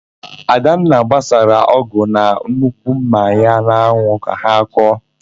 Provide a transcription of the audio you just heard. Adanna gbasara ọ́gụ̀ na nnukwu ḿmà ha n'anwụ ka ha kọọ.